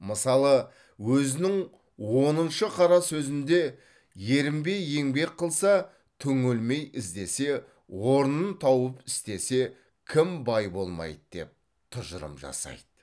мысалы өзінің оныншы қара сөзінде ерінбей еңбек қылса түңілмей іздесе орнын тауып істесе кім бай болмайды деп тұжырым жасайды